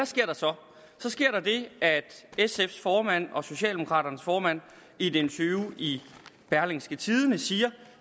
sker der så så sker der det at sfs formand og socialdemokraternes formand i et interview i berlingske tidende siger